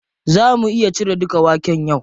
Za mu iya cire dukan waken yau?